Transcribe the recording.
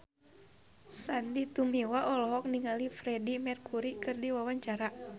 Sandy Tumiwa olohok ningali Freedie Mercury keur diwawancara